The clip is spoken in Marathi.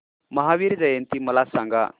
महावीर जयंती मला सांगा